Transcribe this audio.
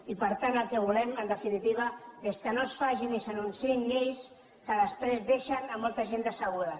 i per tant el que volem en definitiva és que no es facin ni s’anunciïn lleis que després deixen molta gent decebuda